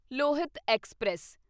Lohit express